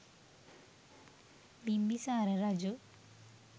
බිම්බිසාර රජු